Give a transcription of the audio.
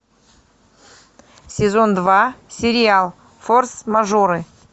сезон два сериал форс мажоры